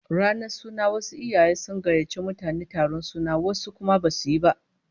Ranar suna wasu iyaye sun gayyaci mutane taron suna, wasu kuma basu yi